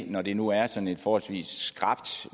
når det nu er sådan et forholdsvis skrapt